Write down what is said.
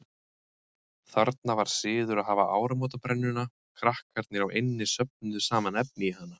Þarna var siður að hafa áramótabrennuna, krakkarnir á eynni söfnuðu saman efni í hana.